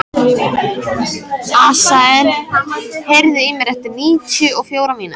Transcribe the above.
Asael, heyrðu í mér eftir níutíu og fjórar mínútur.